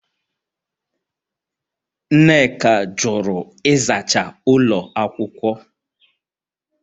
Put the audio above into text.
Nneka jụrụ ịzacha ụlọ akwụkwọ